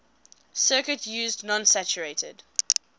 circuit used non saturated